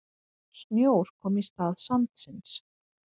Snjór kom í stað sandsins.